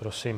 Prosím.